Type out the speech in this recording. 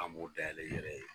An b'o dayɛlɛ i yɛrɛ ye.